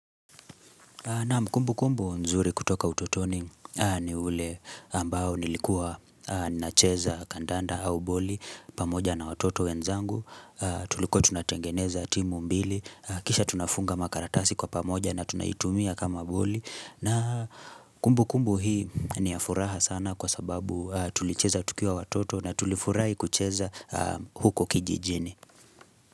Naam kumbukumbu nzuri kutoka ututoni ni ule ambao nilikuwa nacheza kandanda au boli pamoja na watoto wenzangu, tulikuwa tunatengeneza timu mbili, kisha tunafunga makaratasi kwa pamoja na tunaitumia kama boli. Kumbukumbu hii ni ya furaha sana kwa sababu tulicheza tukiwa watoto na tulifurahi kucheza huko kijijini.